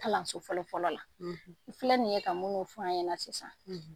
Kalanso fɔlɔ fɔlɔɔ la n filɛ nin ye ka munnu f'an ɲɛna sisan.